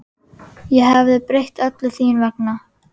Ég hefði breytt öllu þín vegna.